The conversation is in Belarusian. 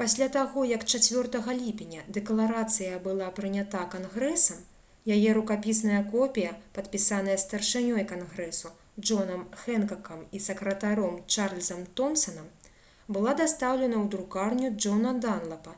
пасля таго як 4 ліпеня дэкларацыя была прынята кангрэсам яе рукапісная копія падпісаная старшынёй кангрэсу джонам хэнкакам і сакратаром чарльзам томсанам была дастаўлена ў друкарню джона данлапа